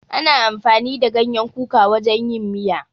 Ana amfani da ganyen kuka wajen yin miya.